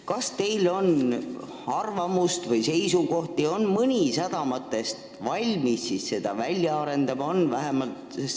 Kas teil on arvamus või seisukoht, on mõni sadamatest valmis seda välja arendama?